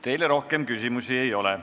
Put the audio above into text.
Teile rohkem küsimusi ei ole.